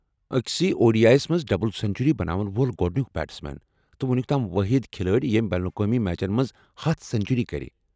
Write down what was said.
أکسٕیے O D I s منٛز زٕ century بناون وول گوڑنُیٚک بیٹسمین، تہٕ ونُیٚک تام وٲحد کھلٲڑۍ یِم بین الاقوٲمی میچن منٛز ہتھَ سنچری کٔرِ